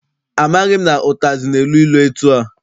Amaghị m na ụtazị na-elu ilu etua.